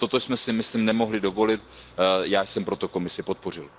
Toto bychom si, myslím, nemohli dovolit, já jsem proto Komisi podpořil.